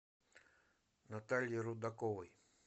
натальи рудаковой